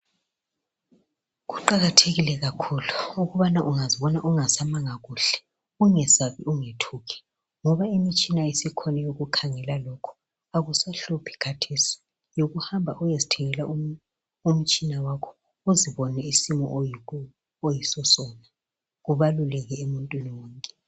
Kuqakathekile kakhulu ukubana ungazibona ungasamanga kuhle .Ungesabi ungethuki ngoba imtshina isikhona eyokukhangela lokhu akusahluphi khathesi .Yikuhamba uyezithengela umtshina wakho uzibone isimo oyiso sona .Kubaluleke emuntwini wonke .